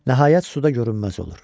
Nəhayət suda görünməz olur.